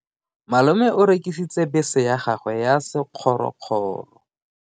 Malome o rekisitse bese ya gagwe ya sekgorokgoro.